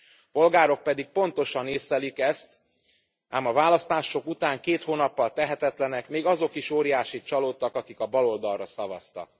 A polgárok pedig pontosan észlelik ezt, ám a választások után két hónappal tehetetlenek, még azok is óriásit csalódtak, akik a baloldalra szavaztak.